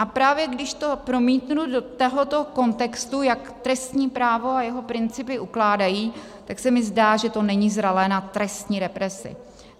A právě když to promítnu do tohoto kontextu, jak trestní právo a jeho principy ukládají, tak se mi zdá, že to není zralé na trestní represi.